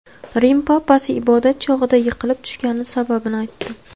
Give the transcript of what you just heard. Rim papasi ibodat chog‘ida yiqilib tushgani sababini aytdi.